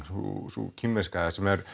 sú kínverska